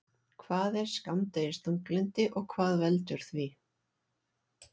Hvað er skammdegisþunglyndi og hvað veldur því?